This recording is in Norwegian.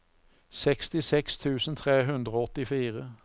sekstiseks tusen tre hundre og åttifire